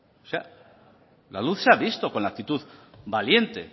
o sea la luz se ha visto con la actitud valiente